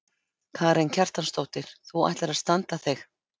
Karen Kjartansdóttir: Þú ætlar að standa þig?